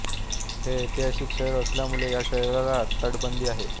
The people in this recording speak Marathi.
हे ऐतिहासिक शहर असल्यामुळे या शहराला तटबंदी आहे